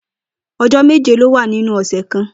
O̩jó̩ méje ló wà nínú ò̩sè̩ kan